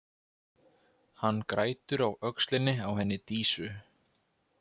Hann grætur á öxlinni á henni Dísu.